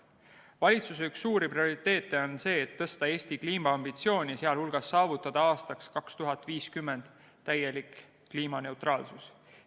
Valitsuse üks suuri prioriteete on see, et tõsta Eesti kliimaambitsiooni, sh saavutada aastaks 2050 täielik kliimaneutraalsus.